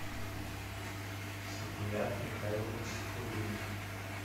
сапият михайлович сафутдинов